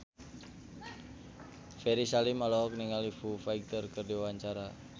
Ferry Salim olohok ningali Foo Fighter keur diwawancara